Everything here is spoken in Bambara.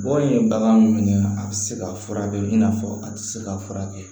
Bɔn ye bagan mun ye a tɛ se ka furakɛ i n'a fɔ a tɛ se ka furakɛ